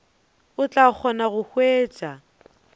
o tla kgona go hwetša